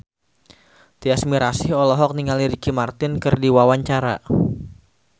Tyas Mirasih olohok ningali Ricky Martin keur diwawancara